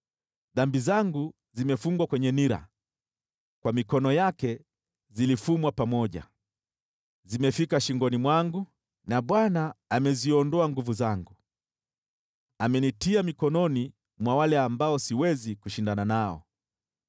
“Dhambi zangu zimefungwa kwenye nira, kwa mikono yake zilifumwa pamoja. Zimefika shingoni mwangu na Bwana ameziondoa nguvu zangu. Amenitia mikononi mwa wale ambao siwezi kushindana nao.